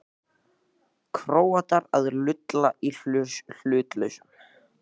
Króatar að lulla í hlutlausum?